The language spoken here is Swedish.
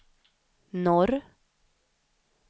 norr